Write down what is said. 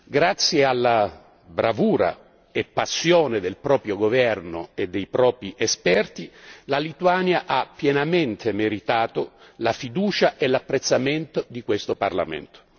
Grazie alla bravura e passione del proprio governo e dei propri esperti, la Lituania ha pienamente meritato la fiducia e l'apprezzamento di questo Parlamento.